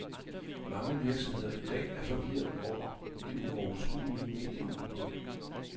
Mange virksomheder i dag er forvirret over det uoverskuelige medieudbud.